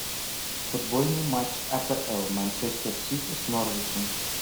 футбольный матч апл манчестер сити с норвичем